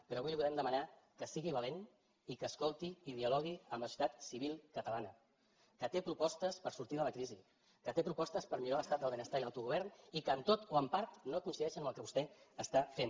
però avui li volem demanar que sigui valent i que escolti i dialogui amb la societat civil catalana que té propostes per sortir de la crisi que té propostes per millorar l’estat del benestar i l’autogovern i que en tot o en part no coincideixen amb el que vostè està fent